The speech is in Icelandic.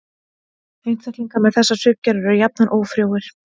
Einstaklingar með þessa svipgerð eru jafnan ófrjóir.